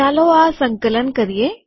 ચાલો આ સંકલન કરીએ